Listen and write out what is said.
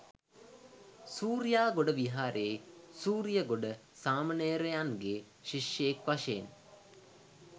සූරියාගොඩ විහාරයේ සූරියගොඩ සාමණේරයන්ගේ ශිෂ්‍යයෙක් වශයෙන්